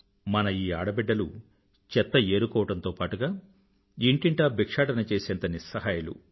మన ఈ ఆడబిడ్డలు చెత్త ఏరుకోవడంతో పాటూ ఇంటింటా బిక్షాటన చేసేంత నిస్సహాయులు